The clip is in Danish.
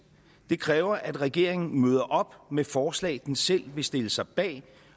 det kræver at regeringen møder op med forslag den selv vil stille sig bag